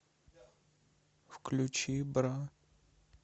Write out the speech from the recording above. включи бра